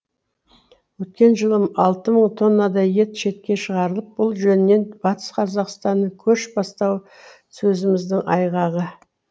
өткен жылы алты мың тоннадай ет шетке шығарылып бұл жөнінен батыс қазақстанның көш бастауы сөзіміздің айғағы